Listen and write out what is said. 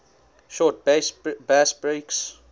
short bass breaks